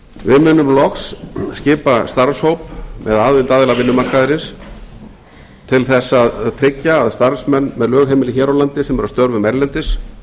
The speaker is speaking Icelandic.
við munum loks skipa starfshóp með aðild aðila vinnumarkaðarins til að tryggja að starfsmenn með lögheimili hér á landi sem eru að störfum erlendis